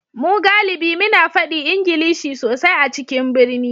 Mu galibi muna fadi Ingilishi sosai a cikin birni